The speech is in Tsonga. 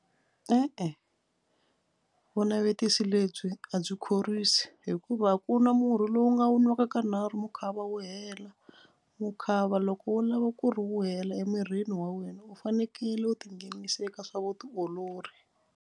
E-e vunavetiso lebyi a byi khorwisi hikuva ku nwa murhi lowu nga wu nwaka kanharhu mukhava wu hela. Mukhava loko wu lava ku ri wu hela emirini wa wena u fanekele u tinghenisa eka swa vutiolori.